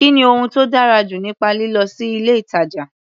Kí ni ohun tó dára jù nípa lílọ sí ilé-ìtàjà?